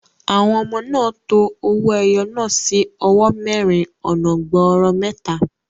Àwọn ọmọ náà to owó ẹyọ náà sí owó mẹ́rin ọ̀nà gbọọrọ mẹ́ta.